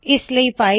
ਇਸ ਲਈ ਫਾਈਲ